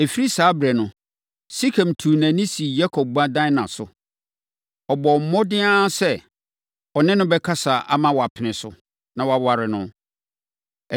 Ɛfiri saa ɛberɛ no, Sekem tuu nʼani sii Yakob ba Dina so. Ɔbɔɔ mmɔden ara sɛ, ɔne no bɛkasa ama wapene so, na waware no.